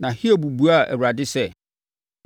Na Hiob buaa Awurade sɛ,